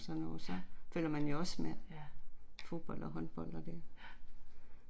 Ja, ja, ja